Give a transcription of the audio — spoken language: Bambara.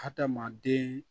Hadamaden